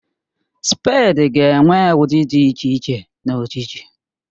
Spèdi ga-enwe ụdị dị iche iche na ojiji